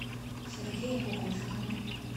сергея кукушкина